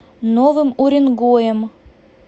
новым уренгоем